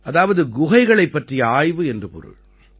அதாவது குகைகளைப் பற்றிய ஆய்வு என்று பொருள்